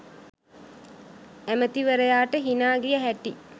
ඇමැතිවරයාට හිනා ගිය හැටි